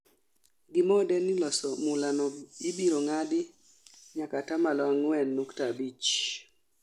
Gimode ni loso mula no ibiro ng'adi nyaka atamalo ang'wen nukta abich